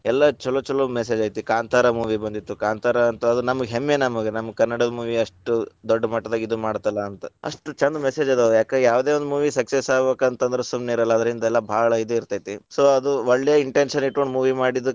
ಎಲ್ಲಾ ಛಲೋ ಛಲೋ message ಐತಿ, ಕಾಂತಾರ movie ಬಂದಿತ್ತು. ಕಾಂತಾರ ಅಂತ ಅದ ನಮಗ್‌ ಹೆಮ್ಮೆ ನಮಗ್‌ ಕನ್ನಡ movie ಅಷ್ಟ್‌ ದೊಡ್ಡ ಮಟ್ಟದಾಗ ಇದ ಮಾಡ್ತತಲ್ಲಾ ಅಂತ. ಅಷ್ಟ ಛಂದ message ಅದಾವ ಯಾಕ ಯಾವ್ದ್‌ ಒಂದ movie success ಆಗ್ಬೇಕಂದ್ರ ಸುಮ್ಮನಿರಲ್ಲಾ ಅದರಲಿಂದ ಎಲ್ಲಾ ಭಾಳ ಇದ ಇರ್ತೇತಿ. so ಅದು ಒಳ್ಳೇ intention ಇಟ್ಕೊಂಡು movie ಮಾಡಿದ್ದಕ್ಕ.